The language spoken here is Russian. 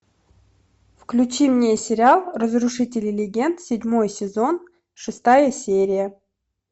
включи мне сериал разрушители легенд седьмой сезон шестая серия